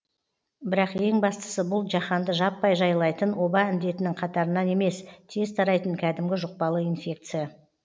бірақ ең бастысы бұл жаһанды жаппай жайлайтын оба індетінің қатарынан емес тез тарайтын кәдімгі жұқпалы инфекция